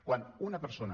quan una persona